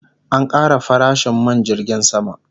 An kara farashin man jirgin sama